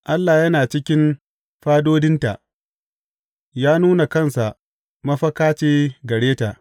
Allah yana cikin fadodinta; ya nuna kansa mafaka ce gare ta.